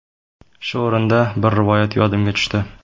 Shu o‘rinda, bir rivoyat yodimga tushdi.